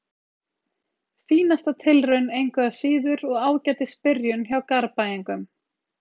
Fínasta tilraun engu að síður og ágætis byrjun hjá Garðbæingunum.